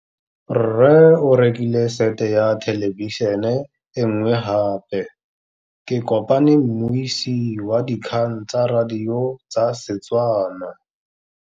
Rre o rekile sete ya thêlêbišênê e nngwe gape. Ke kopane mmuisi w dikgang tsa radio tsa Setswana.